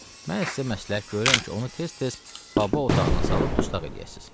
Mən sizə məsləhət görürəm ki, onu tez-tez Baba otağına salıb dustaq eləyəsiniz.